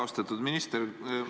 Austatud minister!